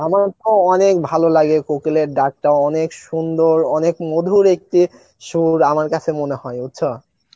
আমার তো অনেক ভালো লাগে কোকিলের ডাকটা অনেক সুন্দর অনেক মধুর একটি সুর আমার কাছে মনে হয় বুঝছো